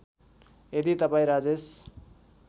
यदी तपाईँ राजेश